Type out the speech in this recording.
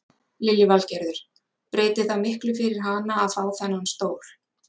Lillý Valgerður: Breytir það miklu fyrir hana að fá þennan stól?